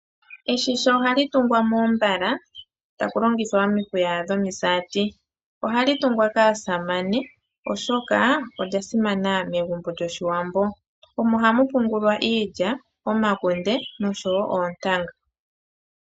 Oshigandhi ohashi tungwa moombala taku longithwa omihuya dhomisati. Ohashi tungwa kaasamane oshoka osha simana megumbo lyoShiwambo. Omo hamu pungulwa iilya, omakunde noshowo oontanga.